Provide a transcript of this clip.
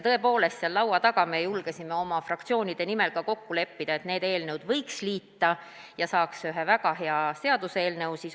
Tõepoolest, seal laua taga me julgesime oma fraktsioonide nimel ka kokku leppida, et need eelnõud võiks liita ja saaks ühe väga hea seaduseelnõu.